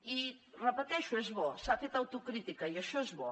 i ho repeteixo és bo s’ha fet autocrítica i això és bo